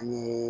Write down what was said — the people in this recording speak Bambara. Nii